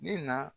Ne na